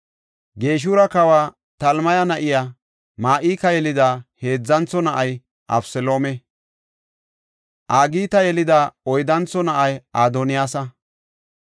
Geshura kawa Talmaya na7iya Ma7ika yelida heedzantho na7ay Abeseloome. Agita yelida oyddantho na7ay Adoniyaasa.